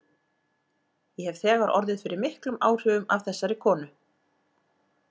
Ég hef þegar orðið fyrir miklum áhrifum af þessari konu.